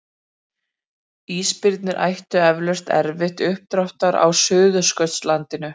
Ísbirnir ættu eflaust erfitt uppdráttar á Suðurskautslandinu.